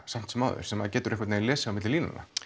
samt sem áður sem maður getur lesið á milli línanna